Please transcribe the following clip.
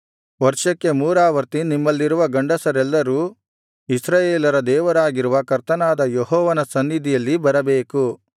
ವರ್ಷಕ್ಕೆ ಮೂರಾವರ್ತಿ ನಿಮ್ಮಲ್ಲಿರುವ ಗಂಡಸರೆಲ್ಲರೂ ಇಸ್ರಾಯೇಲರ ದೇವರಾಗಿರುವ ಕರ್ತನಾದ ಯೆಹೋವನ ಸನ್ನಿಧಿಯಲ್ಲಿ ಬರಬೇಕು